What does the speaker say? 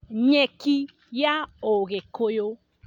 Nyeki ya ũgikũyũ